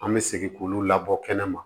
An bɛ segin k'olu labɔ kɛnɛma